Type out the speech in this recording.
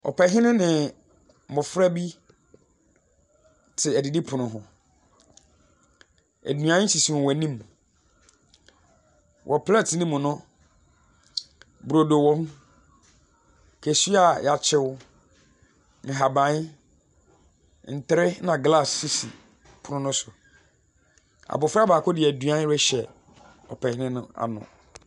Ɔpɛhene ne mmɔfra bi te adidipono ho. Nnuan sisi wɔn anim. Wɔ Plɛte no mu no, brodo wom, kosua a yakyew, nhaban, ntere na glass sisi pon no so. Abɔfra baako de aduan rehyɛ ɔpɛhene n'ano.